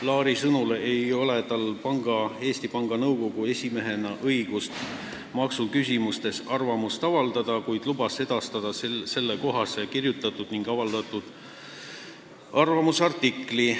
Laari sõnul ei ole tal Eesti Panga Nõukogu esimehena õigust maksuküsimustes arvamust avaldada, kuid ta lubas edastada sellekohase avaldatud arvamusartikli.